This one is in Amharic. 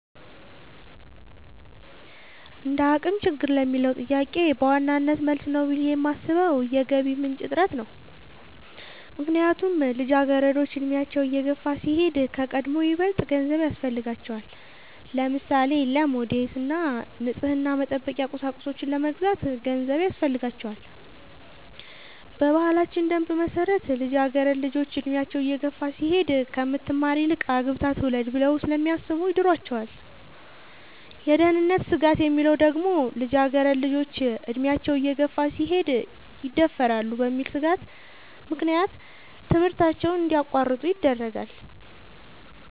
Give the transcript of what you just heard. እንደአቅም ችግር ለሚለው ጥያቄ በዋናነት መልስ ነው ብሌ የማሥበው የገቢ ምንጭ እጥረት ነው። ምክንያቱም ልጃገረዶች አድሚያቸው እየገፋ ሲሄድ ከቀድሞው ይበልጥ ገንዘብ ያሥፈልጋቸዋል። ለምሳሌ:-ለሞዴስ እና ንፅህናን መጠበቂያ ቁሳቁሶች ለመግዛት ገንዘብ ያሥፈልጋል። በባህላችን ደንብ መሠረት ልጃገረድ ልጆች እድሚያቸው እየገፋ ሲሄድ ከምትማር ይልቅ አግብታ ትውለድ ብለው ስለሚያሥቡ ይድሯቸዋል። የደህንነት ስጋት የሚለው ደግሞ ልጃገረድ ልጆች አድሚያቸው እየገፋ ሲሄድ ይደፈራሉ በሚል ሥጋት ምክንያት ከትምህርታቸው እንዲያቋርጡ ይደረጋሉ።